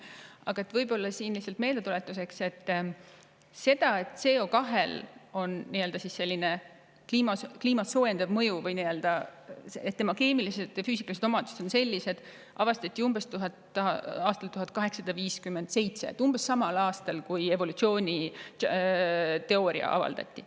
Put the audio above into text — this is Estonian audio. Aga lihtsalt meeldetuletuseks seda, et CO2-l on kliimat soojendav mõju ja see, et tema keemilised ja füüsikalised omadused on sellised, avastati umbes aastal 1857 – umbes samal aastal, kui evolutsiooniteooria avaldati.